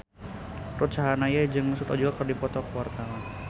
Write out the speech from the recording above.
Ruth Sahanaya jeung Mesut Ozil keur dipoto ku wartawan